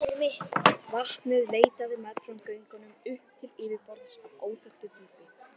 Vatnið leitaði meðfram göngunum upp til yfirborðs af óþekktu dýpi.